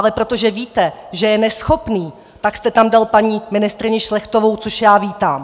Ale protože víte, že je neschopný, tak jste tam dal paní ministryni Šlechtovou, což já vítám.